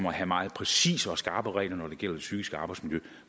at have meget præcise og skarpe regler når det gælder det psykiske arbejdsmiljø